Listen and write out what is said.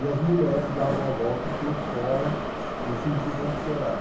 E as mulheres davam a volta por fora, no sentido anti-horário.